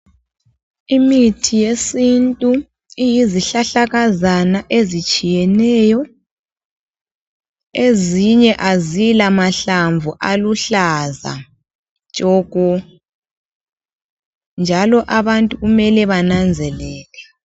Imithi yesintu iyizihlahlakazana ezitshiyeneyo, ezinye azila mahlamvu aluhlaza tshoko, njalo abantu kumele bananzelele.